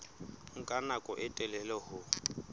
nka nako e telele ho